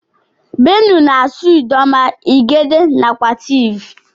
Benue na asụ idoma, igede nakwa tiv.